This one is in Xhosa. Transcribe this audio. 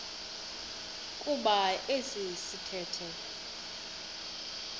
kuba esi sithethe